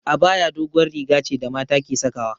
Abaya doguwar riga ce da mata ke sawa